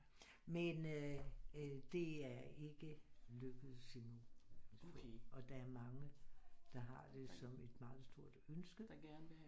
Men øh det er ikke lykkedes endnu og der er mange der har det som et meget stort ønske